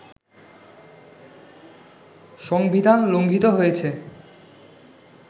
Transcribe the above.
সংবিধান লঙ্ঘিত হয়েছে